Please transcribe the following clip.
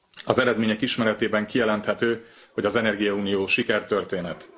Az eredmények ismeretében kijelenthető, hogy az energiaunió sikertörténet.